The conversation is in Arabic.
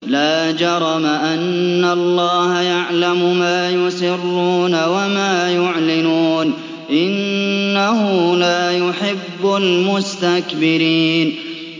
لَا جَرَمَ أَنَّ اللَّهَ يَعْلَمُ مَا يُسِرُّونَ وَمَا يُعْلِنُونَ ۚ إِنَّهُ لَا يُحِبُّ الْمُسْتَكْبِرِينَ